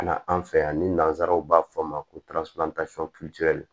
Ka na an fɛ yan ni nazaraw b'a fɔ a ma ko